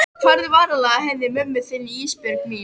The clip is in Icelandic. Farðu varlega að henni mömmu þinni Ísbjörg mín.